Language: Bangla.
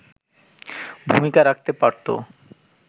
ভূমিকা রাখতে পারতো”